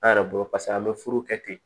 An yɛrɛ bolo paseke an bɛ furu kɛ ten